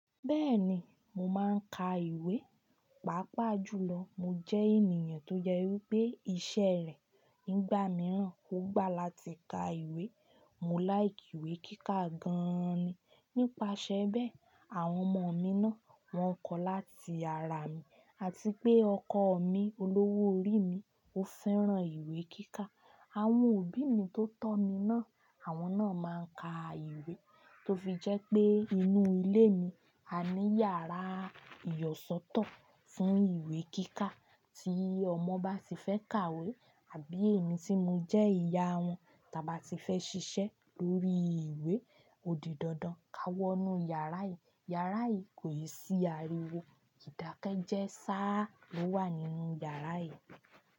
Bẹ́ẹ̀ni, mo máa ń ka ìwé, pàápàá jùlọ. Mo jẹ́ ènìyàn tó je wipé iṣẹ́ rẹ̀ nígbà mìíràn, ó gbà láti ka ìwé. Mo láì ìwé kíkà gan-an ni. Nípasẹ̀ bẹ́ẹ̀, àwọn ọmọ mi náà, wọ́n kọ́ láti ara mi àti pé ọkọ mi, olówó orí mi, ó fẹ́ràn ìwé kíkà. Àwọn òbí mi tó tọ́ mi náà, àwọn náà máa ń ka ìwé tó fi jẹ́ pé inú ilé mi, a ní yàrá ìyọ̀sọ́tọ̀ fún ìwé kíkà tí ọmọ bá ti fẹ́ kàwé àbí èmi tí mo jẹ́ ìyá wọn tàba ti fẹ́ ṣiṣẹ́ lórí ìwé odì dandan, ka wọ inú yàrá yìí. Yàrá yìí kò é sí ariwo, ìdákẹ́jẹ́ sáá lo wà nínú yàrá yìí.